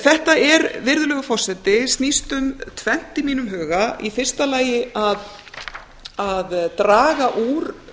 þetta virðulegur forseti snýst um tvennt í mínum huga í fyrsta lagi að draga úr